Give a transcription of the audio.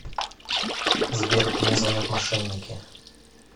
сбер мне звонят мошенники